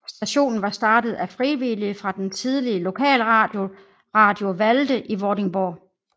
Stationen var startet af frivillige fra den tidligere lokalradio Radio Valde i Vordingborg